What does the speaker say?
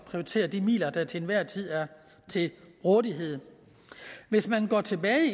prioritere de midler der til enhver tid er til rådighed hvis man går tilbage